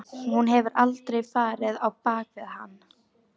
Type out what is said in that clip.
Hún hefur aldrei farið á bak við hann.